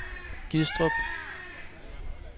Gistrup